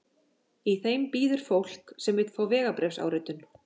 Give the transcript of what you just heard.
Í þeim bíður fólk sem vill fá vegabréfsáritun.